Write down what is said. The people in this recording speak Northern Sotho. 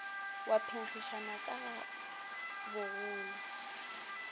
wa phenkgišano ka ga bogolo